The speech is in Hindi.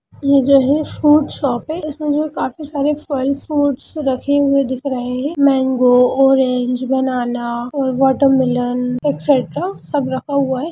ये जो है फ्रूट्स शॉप है इसमें जो काफी सारे फल फ्रूट्स रखे हुए दिख रहे है मैंगो ओरेंज बनाना और वाटरमिलन एक्स्ट्रा सब रखा हुआ है।